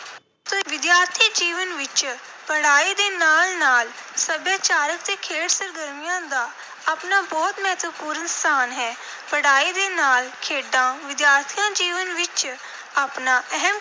ਵਿਦਿਆਰਥੀ ਜੀਵਨ ਵਿੱਚ ਪੜ੍ਹਾਈ ਦੇ ਨਾਲ ਨਾਲ ਸੱਭਿਆਚਾਰਕ ਅਤੇ ਖੇਡ ਸਰਗਰਮੀਆਂ ਦਾ ਆਪਣਾ ਬਹੁਤ ਮਹੱਤਵਪੂਰਨ ਸਥਾਨ ਹੈ। ਪੜ੍ਹਾਈ ਦੇ ਨਾਲ ਖੇਡਾਂ ਵਿਦਿਆਰਥੀ ਜੀਵਨ ਵਿੱਚ ਆਪਣਾ ਅਹਿਮ